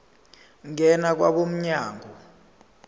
ngena kwabo mnyango